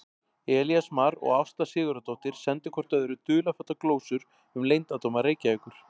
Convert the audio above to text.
Elías Mar og Ásta Sigurðardóttir sendu hvort öðru dularfullar glósur um leyndardóma Reykjavíkur.